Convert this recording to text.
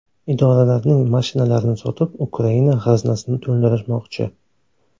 Idoralarning mashinalarini sotib Ukraina g‘aznasini to‘ldirishmoqchi.